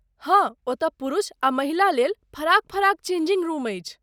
हाँ, ओतय पुरुष आ महिला लेल फराक फराक चेंजिंग रूम अछि।